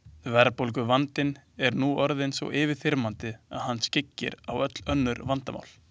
Verðbólguvandinn er nú orðinn svo yfirþyrmandi að hann skyggir á öll önnur vandamál.